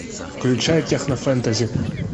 включай техно фэнтези